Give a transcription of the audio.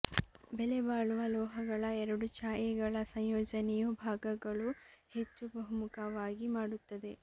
ಬೆಲೆಬಾಳುವ ಲೋಹಗಳ ಎರಡು ಛಾಯೆಗಳ ಸಂಯೋಜನೆಯು ಭಾಗಗಳು ಹೆಚ್ಚು ಬಹುಮುಖವಾಗಿ ಮಾಡುತ್ತದೆ